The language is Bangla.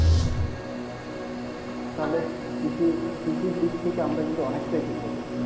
তাহলে কৃষি কৃষির দিক থেকে আমরা কিন্তু অনেকটাই পিছিয়ে গেছি